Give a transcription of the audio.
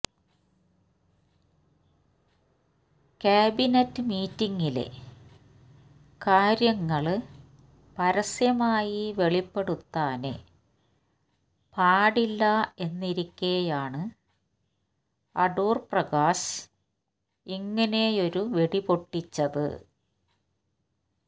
cabinet മീറ്റിങ്ങിലെ കാര്യങ്ങള് പരസ്യമായി വെളിപ്പെടുത്താന് പാടില്ല എന്നിരിക്കെയാണ് അടൂര്പ്രകാശ് ഇങ്ങനെയൊരു വെടിപൊട്ടിച്ചത്